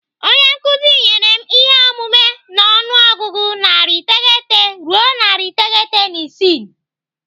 Onye nkụzi nyere m ihe omume n'ọnụọgụgụ narị iteghete ruo narị iteghete na isii.